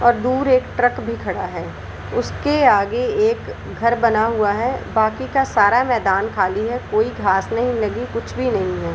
और दूर एक ट्रक भी खड़ा है उसके आगे एक घर बना हुआ है बाकि का सारा मैदान खाली है कोई घास नहीं लगी कुछ भी नही है।